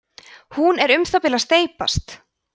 hún er um það bil að steypast